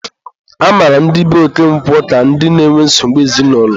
a mara ndị be Okonkwo ka ndị na-enwe nsogbu ezinaụlọ.